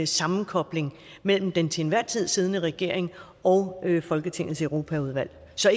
sammenkobling mellem den til enhver tid siddende regering og folketingets europaudvalg så